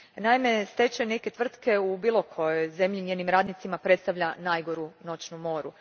Naime, stečaj neke tvrtke u bilo kojoj zemlji njezinim radnicima predstavlja najgoru noćnu moru.